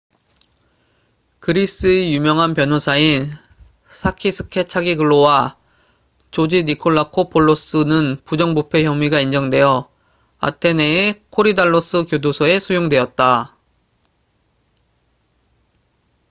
그리스의 유명한 변호사인 사키스 케차기글로sakis kechagioglou와 조지 니콜라코풀로스george nikolakopoulos는 부정부패 혐의가 인정되어 아테네의 코리달로스 교도소에 수용되었다